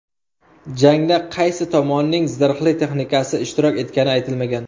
Jangda qaysi tomonning zirhli texnikasi ishtirok etgani aytilmagan.